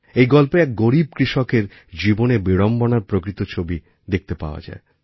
এই গল্পে এক গরীব কৃষকের জীবনের বিড়ম্বনারপ্রকৃত ছবি দেখতে পাওয়া যায়